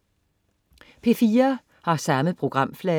P4: